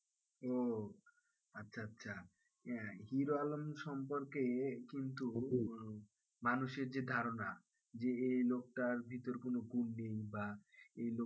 ও আচ্ছা আচ্ছা। হিরো আলম সম্পর্কে কিন্তু মানুষের যে ধারণা যে এই লোকটার ভিতর কোন গুণ নেই বা এই লোকটা,